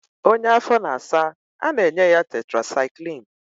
Onye afọ na-asa, a na-enye ya tetrasaịklin